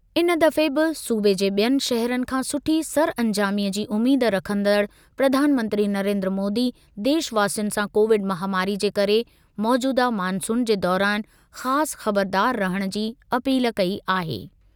इन दफ़े बि सूबे जे बि॒यनि शहरनि खां सुठी सरअंजामीअ जी उमीद रखंदड़ प्रधानमंत्री नरेन्द्र मोदी देशवासियुनि सां कोविड महामारी जे करे मौजूदह मॉनसून जे दौरान ख़ासि ख़बरदारु रहण जी अपील कई आहे।